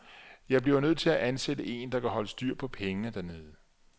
Jeg blev nødt til at ansætte en, der kan holde styr på pengene dernede.